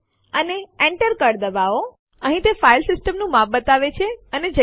જો આપણે એ ડિરેક્ટરી રદ કરવા ઈચ્છતા હોય કે જેની અંદર ઘણી સંખ્યા માં ફાઈલો અને સબડિરેક્ટરીઓ છે તો શું